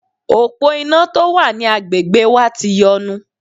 Òpó iná tó wà ní agbègbè wa ti yọnu.